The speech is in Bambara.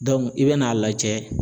i bɛn'a lajɛ